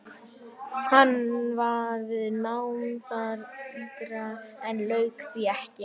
Hann var við nám þar ytra en lauk því ekki.